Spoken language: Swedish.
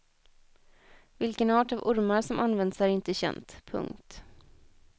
Vilken art av ormar som används är inte känt. punkt